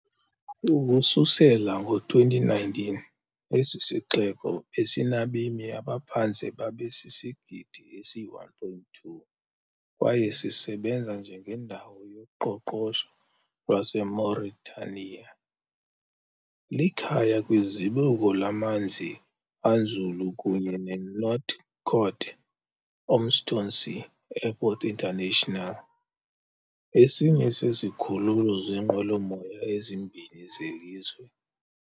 Ukusukela ngo-2019, esi sixeko besinabemi abaphantse babe sisigidi esi-1.2 kwaye sisebenza njengendawo yoqoqosho lwaseMauritania. Likhaya kwizibuko lamanzi anzulu kunye neNouakchott-Oumtounsy Airport International, esinye sezikhululo zeenqwelomoya ezimbini zelizwe.